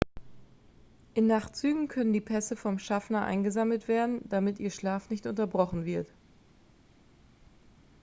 in nachtzügen können die pässe vom schaffner eingesammelt werden damit ihr schlaf nicht unterbrochen wird